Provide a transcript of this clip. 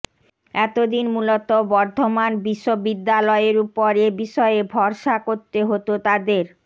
এতদিন মূলত বর্ধমান বিশ্ব বিদ্যালয়ের উপর এ বিষয়ে ভরসা করতে হতো তাদের